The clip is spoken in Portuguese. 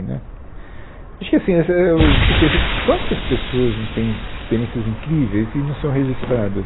Né acho que assim eu fico pensando, quantas pessoas não têm experiências incríveis e não são registradas?